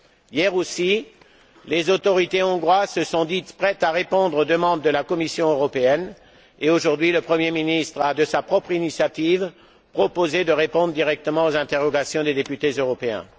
Hier aussi, les autorités hongroises se sont dites prêtes à répondre aux demandes de la Commission européenne et, aujourd'hui, le Premier ministre a, de sa propre initiative, proposé de répondre directement aux interrogations des députés européens.